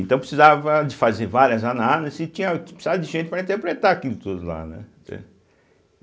Então precisava de fazer várias análises e tinha que precisava de gente para interpretar aquilo tudo lá, né, entende.